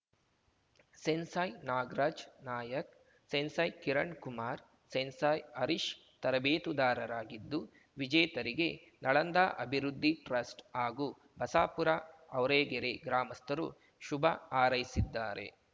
sensei Nagaraj Nayka sensei Kirankumar sensei Harish ತರಬೇತುದಾರರಾಗಿದ್ದು ವಿಜೇತರಿಗೆ ನಳಂದ ಅಭಿವೃದ್ಧಿ ಟ್ರಸ್ಟ್‌ ಹಾಗೂ ಬಸಾಪುರ ಆವ್ರೇಗೆರೆ ಗಾಮಸ್ಥರು ಶುಭ ಹಾರೈಸಿದ್ದಾರೆ